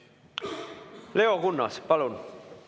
Leo Kunnas, palun!